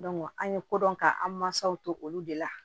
an ye ko dɔn ka an mansaw to olu de la